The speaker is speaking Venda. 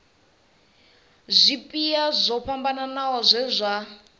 zwipia zwo fhambanaho zwe zwa